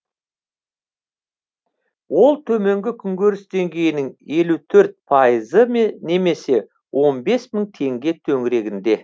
ол төменгі күнкөріс деңгейінің елу төрт пайызы ме немесе он бес мың теңге төңірегінде